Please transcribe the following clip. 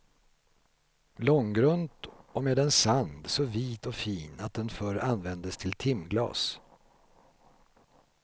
Långgrunt och med en sand så vit och fin att den förr användes till timglas.